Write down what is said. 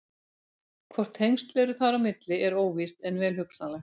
Hvort tengsl eru þar á milli er óvíst en vel hugsanlegt.